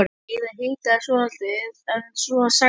Heiða hikaði svolítið en svo sagði hún